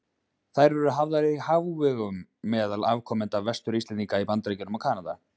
Þær eru hafðar í hávegum meðal afkomenda Vestur-Íslendinga í Bandaríkjunum og Kanada.